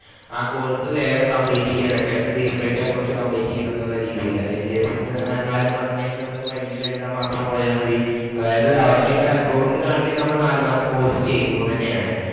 ആ course വേഗം complete ചെയ്യുവാ. Vacation തീരുമ്പോഴേക്കും ആ course complete ചെയ്യണമെന്ന് രീതിയിൽ അതിനുശേഷം നാലുമാസം കഴിഞ്ഞ് പരീക്ഷ എഴുതാൻ വേണ്ടി മാത്രം പോയാൽ മതി. അതായത് അവിടെ record ഇല് കാണിക്കും നാല് മാസം course ചെയ്തൂന്ന് തന്നെയാണ്.